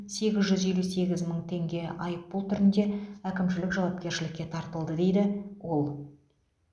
сегіз жүз елу сегіз мың теңге айыппұл түрінде әкімшілік жауапкершілікке тартылды дейді ол